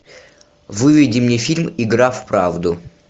выведи мне фильм игра в правду